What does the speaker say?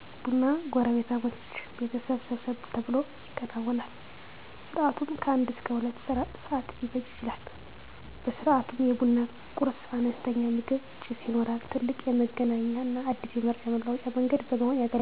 ቡና ጎረቤታሞች ቤተሰብ ሰብሰብ ተብሎ ይከወናል። ስርዓቱም ከአንድ እስከ ሁለት ሰዓት ሊፈጅ ይችላል። በስርዓቱም የቡና ቁርስ(አነስተኛ ምግብ) ፣ ጭስ ይኖራል። ትልቅ የመገናኛና አዲስ መረጃ መለዋወጫ መንገድ በመሆን ያገለግላል።